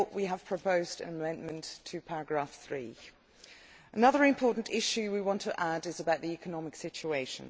Therefore we have proposed an amendment to paragraph 3. Another important issue we want to add is about the economic situation.